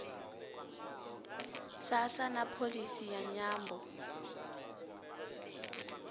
sasa na pholisi ya nyambo